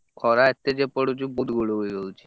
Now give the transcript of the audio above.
ଖରା ଏତେ ଯେ ପଡୁଛି ଗୁଳୁଗୁଳି ହେଇଯାଉଛି।